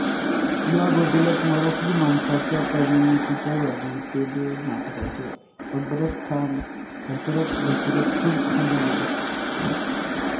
या बदलांत मराठी माणसाच्या करमणुकीच्या यादीतले नाटकाचे अग्रस्थान घसरत घसरत खूप खाली गेले